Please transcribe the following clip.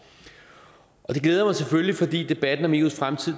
det glæder mig selvfølgelig fordi debatten om eus fremtid